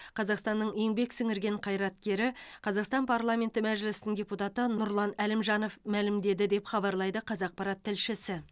қазақстанның еңбек сіңірген қайраткері қазақстан парламенті мәжілісінің депутаты нұржан әлімжанов мәлімдеді деп хабарлайды қазақпарат тілшісі